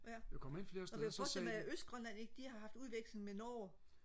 ja jeg kunne forestille mig at østgrønland ikke de har haft udveksling med Norge